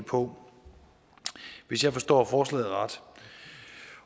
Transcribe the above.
på hvis jeg forstår forslaget ret